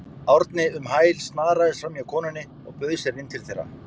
Árni um hæl, snaraðist framhjá konunni og bauð sér inn til þeirra.